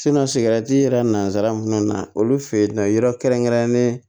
sigɛrɛti yɛrɛ nanzara mun kɔnɔna na olu fɛ yen nɔ yɔrɔ kɛrɛnkɛrɛnnen